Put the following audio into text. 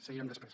seguirem després